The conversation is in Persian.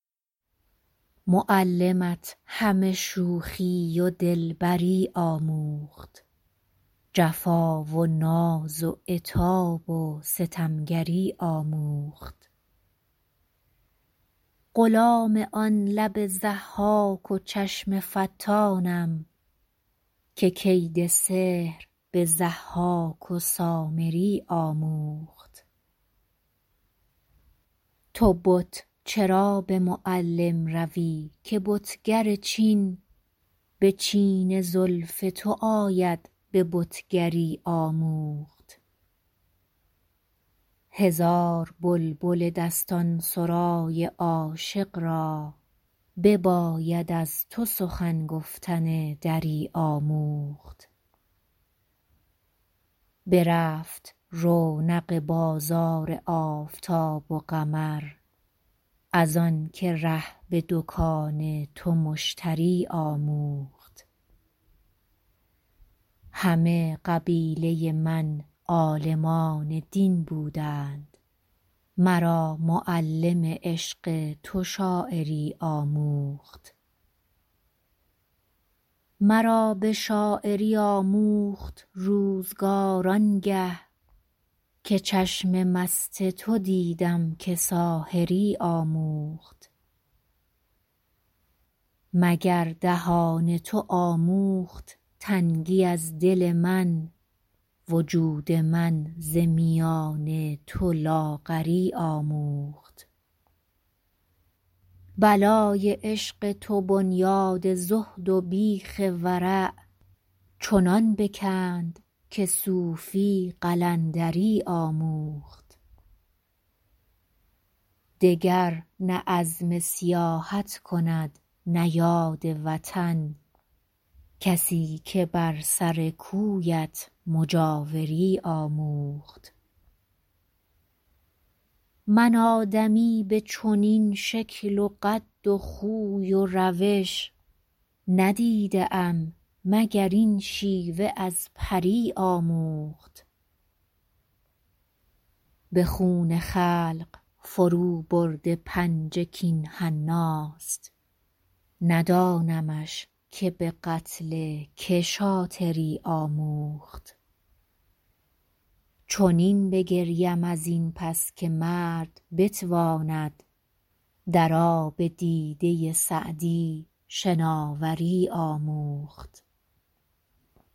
معلمت همه شوخی و دلبری آموخت جفا و ناز و عتاب و ستمگری آموخت غلام آن لب ضحاک و چشم فتانم که کید سحر به ضحاک و سامری آموخت تو بت چرا به معلم روی که بتگر چین به چین زلف تو آید به بتگری آموخت هزار بلبل دستان سرای عاشق را بباید از تو سخن گفتن دری آموخت برفت رونق بازار آفتاب و قمر از آن که ره به دکان تو مشتری آموخت همه قبیله من عالمان دین بودند مرا معلم عشق تو شاعری آموخت مرا به شاعری آموخت روزگار آن گه که چشم مست تو دیدم که ساحری آموخت مگر دهان تو آموخت تنگی از دل من وجود من ز میان تو لاغری آموخت بلای عشق تو بنیاد زهد و بیخ ورع چنان بکند که صوفی قلندری آموخت دگر نه عزم سیاحت کند نه یاد وطن کسی که بر سر کویت مجاوری آموخت من آدمی به چنین شکل و قد و خوی و روش ندیده ام مگر این شیوه از پری آموخت به خون خلق فروبرده پنجه کاین حناست ندانمش که به قتل که شاطری آموخت چنین بگریم از این پس که مرد بتواند در آب دیده سعدی شناوری آموخت